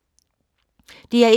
DR1